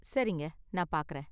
சரிங்க, நான் பார்க்கறேன்.